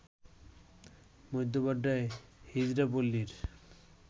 মধ্য বাড্ডার হিজড়া পল্লীর